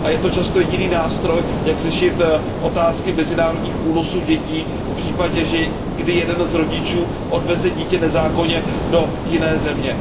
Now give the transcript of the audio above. A je to často jediný nástroj, jak řešit otázky mezinárodních únosů dětí v případě, kdy jeden z rodičů odveze dítě nezákonně do jiné země.